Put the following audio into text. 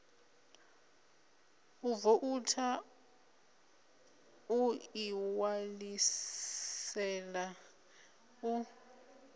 u voutha u ḓiṋwalisela u